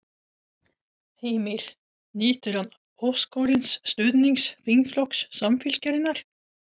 Heimir: Nýtur hann óskorins stuðnings þingflokks Samfylkingarinnar?